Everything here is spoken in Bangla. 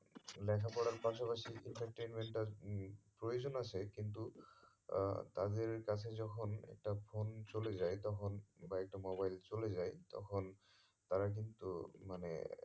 লেখা পড়ার পাশা পাশি entertainment এর ই প্রয়োজন আছে কিন্তু আহ তাদের কাছে যখন একটা phone চলে যায় তখন বা একটা mobile চলে যায় তখন তারা কিন্তু মানে